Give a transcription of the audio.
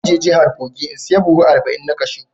Zan je jihar kogi in saya buhu arba'in na cashew.